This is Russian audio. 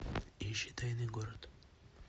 ищи тайный город